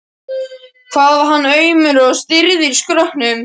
hvað hann var aumur og stirður í skrokknum!